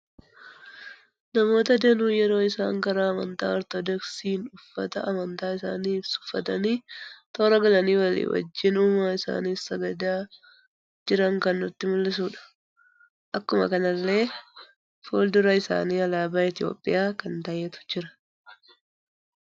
Namoota danuu yeroo isaan karaa amantaa ortodooksiin uffata amantaa isaanii ibsu uffatani toora galani walii wajjin uuma isaaniif sagada jiran kan nutti muldhisudha. Akkuma kanallee fulduraa isaan alaabaa Itoophiyaa kan ta'etu jira.